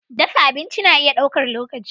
Dafa abinci na iya ɗaukar lokaci.